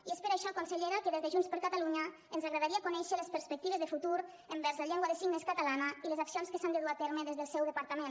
i és per això consellera que des de junts per catalunya ens agradaria conèixer les perspectives de futur envers la llengua de signes catalana i les accions que s’han de dur a terme des del seu departament